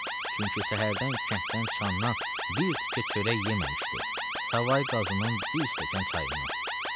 Çünki səhərdən kənddən çıxandan bir tikə çörək yeməmişdi, savay qazının bir stəkan çayından.